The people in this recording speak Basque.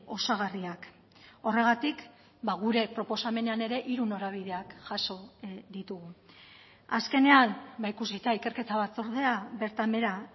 osagarriak horregatik gure proposamenean ere hiru norabideak jaso ditugu azkenean ikusita ikerketa batzordea bertan behera